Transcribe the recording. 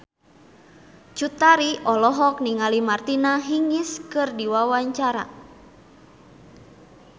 Cut Tari olohok ningali Martina Hingis keur diwawancara